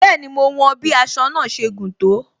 Bẹẹni, mo wọn bí aṣọ náà ṣe gùn tó